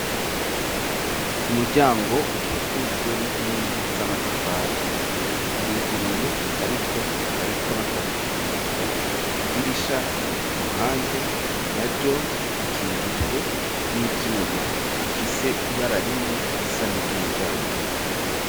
Umuryango ukikujwe n'inkingi z'amatafari uruguruye ariko hariko n'akagufuri idirisha riri ku ruhande naryo ikingijwe n'ivyuma bifise ibara rimwe risa ni ry'umuryango